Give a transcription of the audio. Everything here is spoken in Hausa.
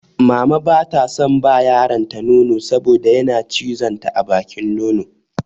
Mama ba ta son ba yaronta nono saboda yana cizon ta a bakin nono.